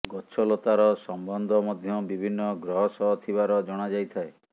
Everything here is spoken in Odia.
ଗଛଲତାର ସମ୍ବନ୍ଧ ମଧ୍ୟ ବିଭିନ୍ନ ଗ୍ରହ ସହ ଥିବାର ଜଣା ଯାଇଥାଏ